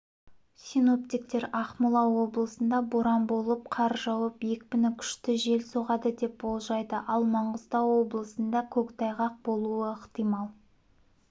синоптиктер ақмола облысында боран болып қар жауып екпіні күшті жел соғады деп болжайды ал маңғыстау облысында көктайғақ болуы ықтимал